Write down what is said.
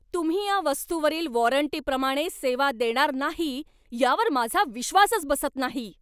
तुम्ही या वस्तूवरील वॉरंटीप्रमाणे सेवा देणार नाही यावर माझा विश्वासच बसत नाही.